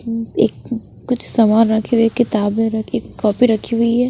एक कुछ सामान रखे हुए किताबें र एक कॉपी रखी हुई है।